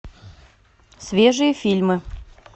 свежие фильмы